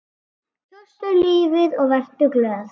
Kjóstu lífið og vertu glöð.